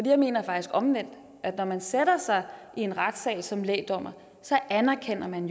jeg mener faktisk omvendt at når man sætter sig i en retssal som lægdommer anerkender man